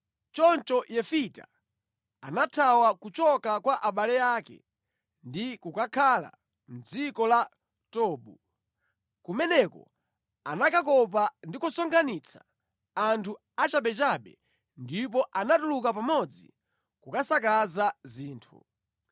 Choncho Yefita anathawa kuchoka kwa abale ake ndi kukakhala mʼdziko la Tobu. Kumeneko anakakopa ndi kusonkhanitsa anthu achabechabe ndipo anatuluka pamodzi kukasakaza zinthu.